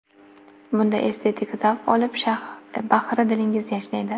Bunda estetik zavq olib, bahri dilingiz yashnaydi.